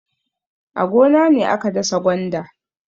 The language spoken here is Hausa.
A gona ne aka dasa gwanda.